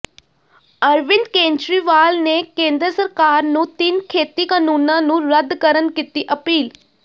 ਅਰਵਿੰਦ ਕੇਜਰੀਵਾਲ ਨੇ ਕੇਂਦਰ ਸਰਕਾਰ ਨੂੰ ਤਿੰਨ ਖੇਤੀ ਕਾਨੂੰਨਾਂ ਨੂੰ ਰੱਦ ਕਰਨ ਕੀਤੀ ਅਪੀਲ